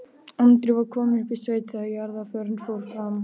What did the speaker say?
Andri var kominn upp í sveit þegar jarðarförin fór fram.